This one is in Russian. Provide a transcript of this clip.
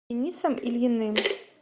денисом ильиным